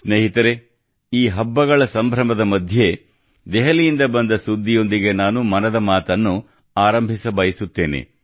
ಸ್ನೇಹಿತರೇ ಈ ಹಬ್ಬಗಳ ಸಂಭ್ರಮದ ಮಧ್ಯೆ ದೆಹಲಿಯಿಂದ ಬಂದ ಸುದ್ದಿಯೊಂದಿಗೆ ನಾನು ಮನದ ಮಾತನ್ನು ಆರಂಭಿಸಬಯಸುತ್ತೇನೆ